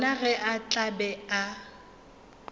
gona ge a tla be